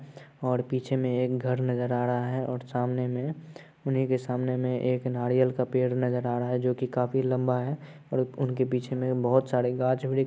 और पीछे में एक घर नज़र आ रहा है और सामने में उन्ही के सामने में एक नारियल का पेड़ नज़र आ रहा है जोकि काफी लम्बा है और उनके पीछे में बहुत सारे गाछ वृक्ष--